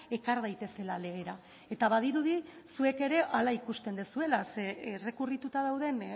ekar daitezela legera eta badirudi zuek ere hala ikusten dezuela ze errekurrituta dauden